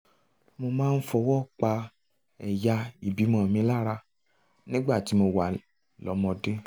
mo máa ń fọwọ́ pa ẹ̀yà ìbímọ mi lára nígbà tí mo wà lọ́mọdé